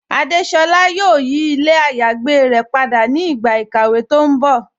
Adésolá yóò yí ilẹ̀ àyágbé rẹ̀ pada ni ìgba ikàwé tó n bọ́.